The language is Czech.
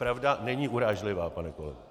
Pravda není urážlivá, pane kolego!